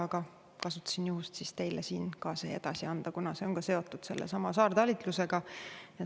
Aga kasutasin juhust, et ka siin teile see kõik edasi anda, kuna see on seotud sellesama saartalitlusega.